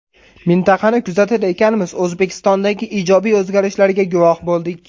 Mintaqani kuzatar ekanmiz, O‘zbekistondagi ijobiy o‘zgarishlarga guvoh bo‘ldik.